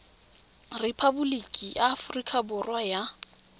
repaboliki ya aforika borwa ya